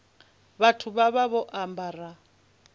vhathu vha vha vho ambara